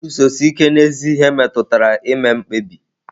Iguzosi ike n'ezi ihe metụtara ime mkpebi.